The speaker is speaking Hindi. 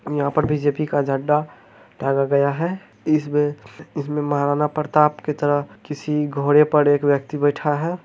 यहाँ बीजेपी का झण्डा टांगा गया है इसमे इसमें महाराणा प्रताप की तरह किसी घोड़े पर एक व्यक्ति बैठा है।